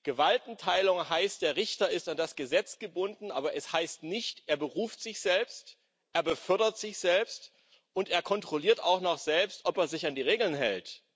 Gewaltenteilung heißt Der Richter ist an das Gesetz gebunden, aber sie heißt nicht Er beruft sich selbst, er befördert sich selbst, und er kontrolliert auch noch selbst, ob er sich an die Regeln hält.